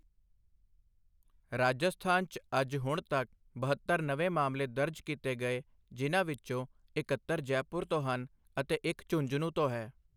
ਰਾਜਸਥਾਨ 'ਚ ਅੱਜ ਹੁਣ ਤੱਕ ਬਹੱਤਰ ਨਵੇਂ ਮਾਮਲੇ ਦਰਜ ਕੀਤੇ ਗਏ ਜਿਨ੍ਹਾਂ ਵਿੱਚੋਂ ਇੱਕਹੱਤਰ ਜੈਪੁਰ ਤੋਂ ਹਨ ਅਤੇ ਇੱਕ ਝੁੰਨਝਨੂੰ ਤੋਂ ਹੈ।